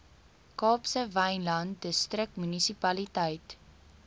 kaapse wynland distriksmunisipaliteit